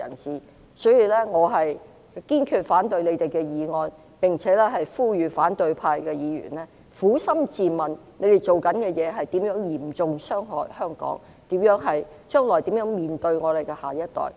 所以，我堅決反對他們的議案，並且呼籲反對派議員撫心自問，他們所做的事會嚴重傷害香港，將來如何面對我們的下一代？